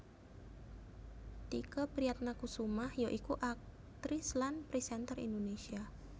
Tike Priatnakusumah ya iku aktris lan présènter Indonésia